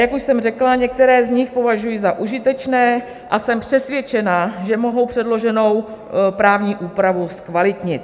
Jak už jsem řekla, některé z nich považuji za užitečné a jsem přesvědčena, že mohou předloženou právní úpravu zkvalitnit.